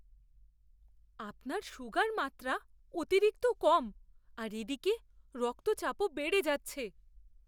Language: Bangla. আপনার সুগার মাত্রা অতিরিক্ত কম আর এদিকে রক্তচাপও বেড়ে যাচ্ছে।